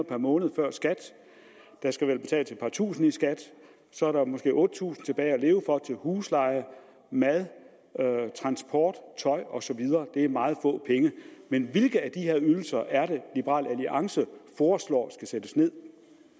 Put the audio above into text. per måned før skat der skal vel betales et par tusind i skat og så er der måske otte tusind kroner tilbage at leve for til husleje mad transport tøj og så videre det er meget få penge men hvilke af de her ydelser er det liberal alliance foreslår skal sættes ned